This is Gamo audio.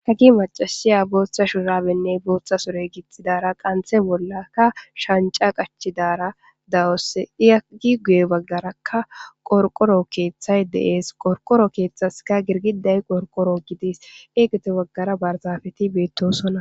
ka gi macasiya booththa shurabenne booththa sore githidara qanthe bollaka shanca qachidara dawos diyagi guye baggarakka qorqoro keeththay deees qorqoro keeththaska girgiday qorqoro gidis eegete baggara barzafeti beettosona